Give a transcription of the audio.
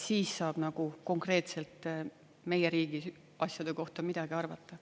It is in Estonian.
Siis saab nagu konkreetselt meie riigi asjade kohta midagi arvata.